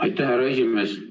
Aitäh, härra esimees!